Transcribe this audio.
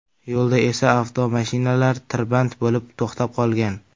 Yo‘lda esa avtomashinalar tirband bo‘lib to‘xtab qolgan.